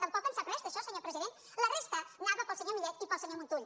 tampoc en sap res d’això senyor president la resta anava per al senyor millet i per al senyor montull